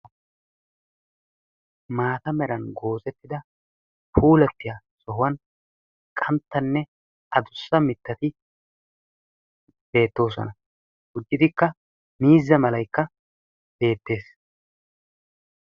Maata meran oosettida puulattiya sohuwan qanttanne adussa mittati beettoosona. Mittatikka Miuzza malaykka beettes.